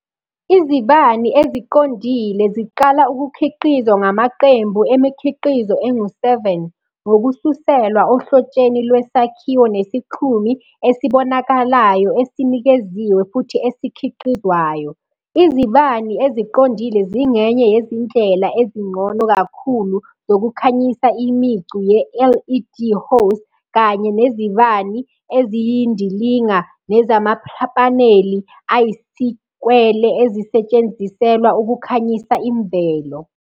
Izibani eziqondile ziqala ukukhiqizwa ngamaqembu emikhiqizo engu-7, ngokususelwa ohlotsheni lwesakhiwo nesixhumi esibonakalayo esinikeziwe futhi esikhiqizwayo. Izibani eziqondile zingenye yezindlela ezingcono kakhulu zokukhanyisa imicu ye-LED hose kanye nezibani eziyindilinga nezamapaneli ayisikwele ezisetshenziselwa ukukhanyisa imvelo.